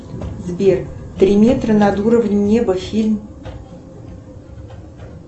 сбер три метра над уровнем неба фильм